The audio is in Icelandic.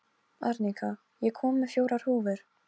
Arnika, ég kom með fjórar húfur!